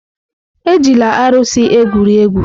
Ejila arụsị egwuri egwu!